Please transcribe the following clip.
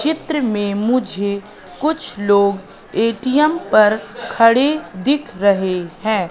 चित्र में मुझे कुछ लोग ए_टी_एम पर खड़े दिख रहे हैं।